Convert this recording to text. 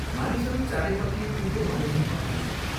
मानिसहरू चारैपट्टि कुकुर मरे झैं मर्दैछन्।